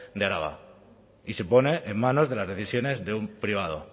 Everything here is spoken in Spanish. de araba y se pone en manos de las decisiones de un privado